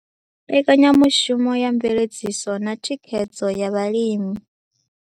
Mbekanyamushumo ya Mveledziso na Thikhedzo ya Vhalimi